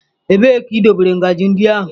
Ebee ka idobere ngaji ndị ahụ?